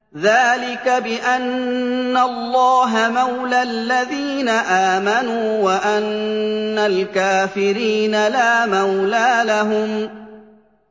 ذَٰلِكَ بِأَنَّ اللَّهَ مَوْلَى الَّذِينَ آمَنُوا وَأَنَّ الْكَافِرِينَ لَا مَوْلَىٰ لَهُمْ